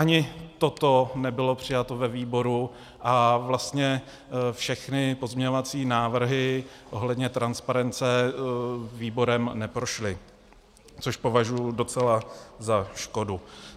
Ani toto nebylo přijato ve výboru a vlastně všechny pozměňovací návrhy ohledně transparence výborem neprošly, což považuji docela za škodu.